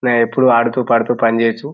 ఇలా ఎప్పుడూ ఆడుతూ పడుతూ పని చెయ్యొచ్చు.